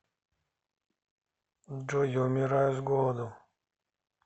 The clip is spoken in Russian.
джой я умираю с голоду